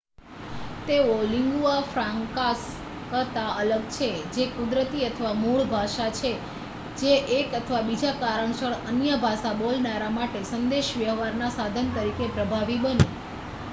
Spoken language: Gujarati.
તેઓ લીન્ગુઆ ફ્રાંકાસ કરતાં અલગ છે જે કુદરતી અથવા મૂળ ભાષા છે જે એક અથવા બીજા કારણસર અન્ય ભાષા બોલનારા માટે સંદેશ વ્યવહાર ના સાધન તરીકે પ્રભાવી બની